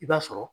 I b'a sɔrɔ